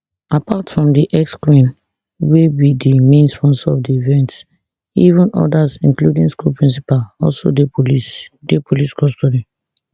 apart from di exqueen wey be di main sponsor of di event seven odas including di school principal also dey police dey police custody